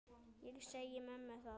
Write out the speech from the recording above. Ég segi mömmu það.